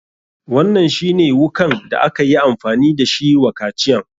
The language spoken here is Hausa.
Wannan shi ne wukan da akayi amfani da shi wa kaciyan?